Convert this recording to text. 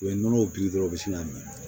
U ye nɔnɔw dɔrɔn u bi sin ka mɛn